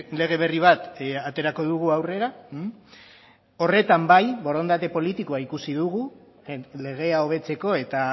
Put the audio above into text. lege berri bat aterako dugu aurrera horretan bai borondate politikoa ikusi dugu legea hobetzeko eta